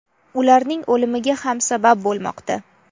ularning o‘limiga ham sabab bo‘lmoqda.